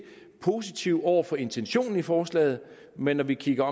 positive over for intentionen i forslaget men når vi kigger